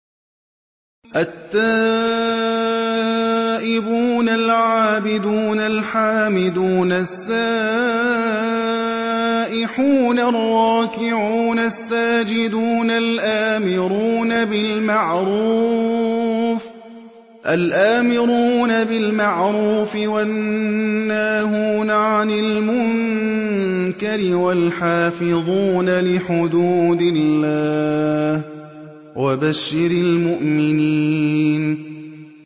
التَّائِبُونَ الْعَابِدُونَ الْحَامِدُونَ السَّائِحُونَ الرَّاكِعُونَ السَّاجِدُونَ الْآمِرُونَ بِالْمَعْرُوفِ وَالنَّاهُونَ عَنِ الْمُنكَرِ وَالْحَافِظُونَ لِحُدُودِ اللَّهِ ۗ وَبَشِّرِ الْمُؤْمِنِينَ